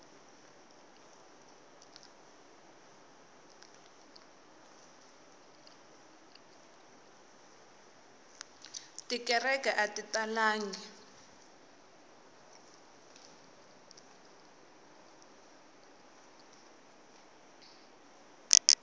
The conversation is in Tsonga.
tikereke ati nga talangi